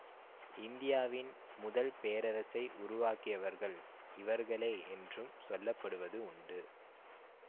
இந்தியாவின் முதல் பேரரசை உருவாக்கியவர்கள் இவர்களே என்றும் சொல்ல படுவது உண்டு